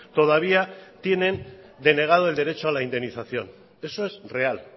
todavía tienen denegado el derecho a la indemnización eso es real